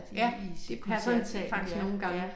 Ja det passer faktisk nogle gange